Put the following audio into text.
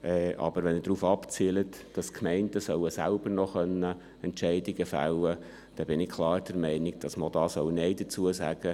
Aber wenn er darauf abzielt, dass die Gemeinden selber noch Entscheidungen fällen können sollen, dann bin ich klar der Meinung, dass man auch dazu Nein sagen soll.